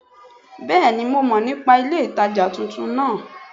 Béèni mo mo nípa ilé ìtajà titun náà